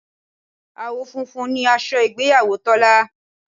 Àwọ̀ funfun ni aṣọ ìgbéyàwó Tọ́lá